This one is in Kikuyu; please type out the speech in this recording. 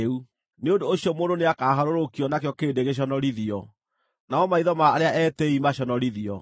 Nĩ ũndũ ũcio mũndũ nĩakaharũrũkio, nakĩo kĩrĩndĩ gĩconorithio, namo maitho ma arĩa etĩĩi maconorithio.